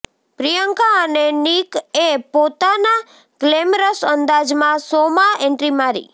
પ્રિયંકા અને નિકએ પોતાના ગ્લેમરસ અંદાજમાં શોમાં એન્ટ્રી મારી